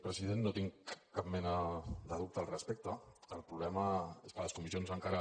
president no tinc cap mena de dubte al respecte el problema és que les comissions encara